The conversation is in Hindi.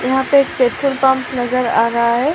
यहां पे एक पेट्रोल पंप नजर आ रहा है।